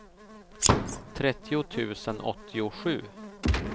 trettio tusen åttiosju